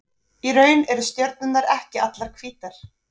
Í raun eru stjörnurnar ekki allar hvítar.